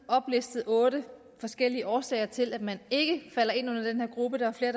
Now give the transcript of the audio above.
oplistet otte forskellige årsager til at man ikke falder ind under den her gruppe der er flere